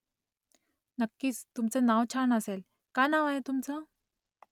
नक्कीच तुमचं नाव छान असेल . काय नाव आहे तुमचं ?